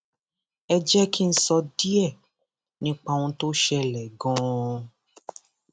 ẹ jẹ kí n sọ díẹ nípa ohun tó ṣẹlẹ ganan